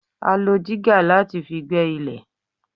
A lo dígà láti fi gbẹ́ ilẹ̀.